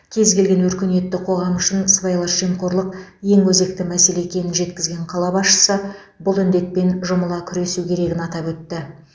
кез келген өркениетті қоғам үшін сыбайлас жемқорлық ең өзекті мәселе екенін жеткізген қала басшысы бұл індетпен жұмыла күресу керегін атап өтті